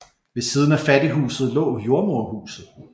Ved siden af fattighuset lå jordemoderhuset